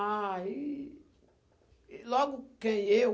Aí, logo que eu...